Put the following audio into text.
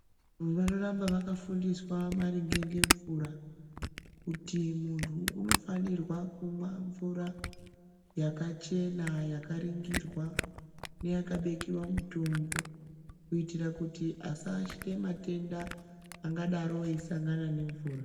Vanoramba vakafundiswa maringe ngemvura kuti muntu umofanirwa kumwa mvura yakachena yakaringirwa neyakabikiwa mutombo kuitira kuti asaashira matenda angadaro eisangana nemvura.